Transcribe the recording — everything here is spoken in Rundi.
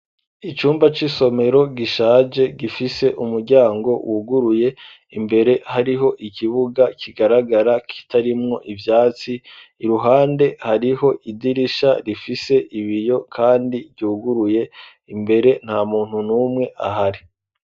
Icumba c'isomero gishaje, gifise umuryango wuguruye, imbere hariho ikibuga kigaragara kitarimwo ivyatsi ,iruhande hariho idirisha rifise ibiyo, kandi vyuguruye imbere nta muntu numwe ahari.